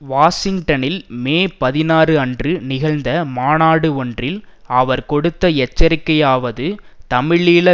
வாஷிங்டனில் மே பதினாறு அன்று நிகழ்ந்த மாநாடு ஒன்றில் அவர் கொடுத்த எச்சரிக்கையாவது தமிழீழ